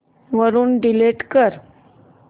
वरून डिलीट कर